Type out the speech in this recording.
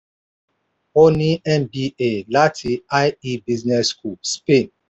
ó ní mba láti ie business school spain.